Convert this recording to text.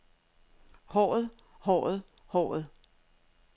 håret håret håret